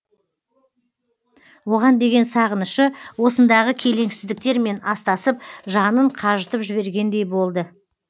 оған деген сағынышы осындағы келеңсіздіктермен астасып жанын қажытып жібергендей болды